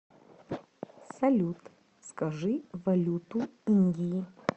салют скажи валюту индии